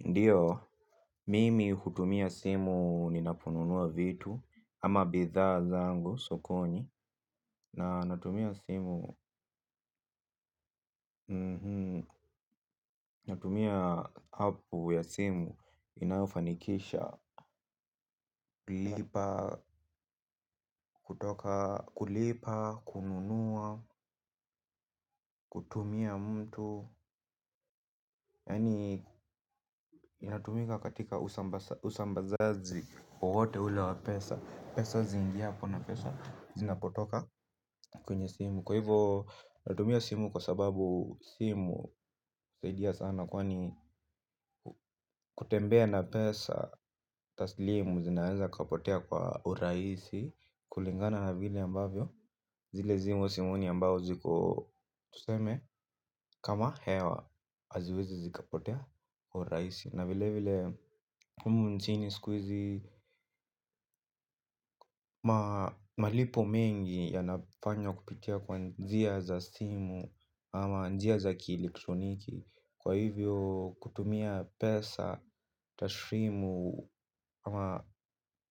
Ndiyo, mimi hutumia simu ninaponunua vitu, ama bidha zangu sokoni, na natumia simu, natumia hapu ya simu inaofanikisha. Kulipa, kutoka, kulipa, kununua, kutumia mtu, yani inatumika katika usambazaji, wowote ule wapesa, pesazi zingi hapo na pesa zinapotoka kwenye simu. Kwa hivyo natumia simu kwa sababu simu uaidia sana kwani kutembea na pesa taslimu zinaenza kapotea kwa uraisi kulingana na vile ambavyo zile simu simu ni ambazo ziko, tuseme, kama hewa, haziwezi zikapotea kirahisi. Na vilevile humu nchini siku hizi. Malipo mengi yanafanya kupitia kwa njia za simu ama njia za kili ktroniki. Kwa hivyo kutumia pesa taslimu ama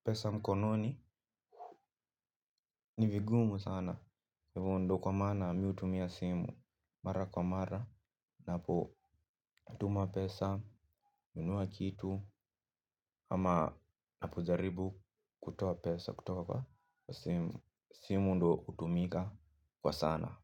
pesa mkononi ni vigumu sana. Ya ivo ndo kwa mana miutumia simu mara kwa mara. Napo natuma pesa, nunua kitu. Ama napojaribu kutoa pesa, kutoka kwa simu ndo utumika kwa sana.